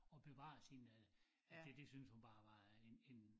At bevare sin øh det det synes hun bare var en en